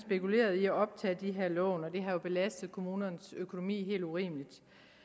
spekuleret i at optage de her lån og det har belastet kommunernes økonomi helt urimeligt